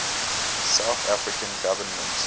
south african government